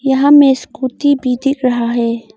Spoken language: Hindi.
यहां हमें स्कूटी भी दिख रहा है।